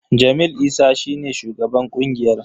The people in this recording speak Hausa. Jamil Isa shi ne shugaban ƙungiyar.